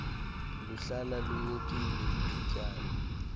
luhlala lunyukile ithutyana